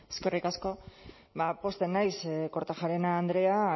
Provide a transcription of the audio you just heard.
eskerrik asko pozten naiz kortajarena andrea